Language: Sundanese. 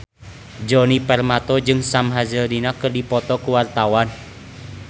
Djoni Permato jeung Sam Hazeldine keur dipoto ku wartawan